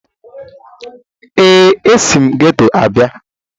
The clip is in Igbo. ee, esi m geto abịa